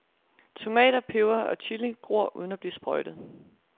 Tomater, peber og chili gror uden at blive sprøjtet.